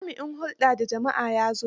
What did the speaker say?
Jami'in hulɗa da jama'ar ya zo.